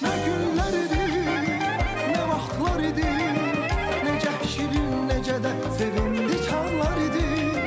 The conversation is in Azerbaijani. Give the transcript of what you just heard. Nə günlər idi, nə vaxtlar idi, necə şirin, necə də sevindik anlar idi.